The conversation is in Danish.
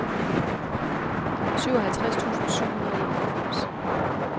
syvoghalvtreds tusind syv hundrede og enoghalvfems